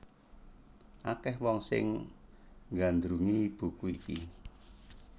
Akèh wong sing nggandrungi buku iki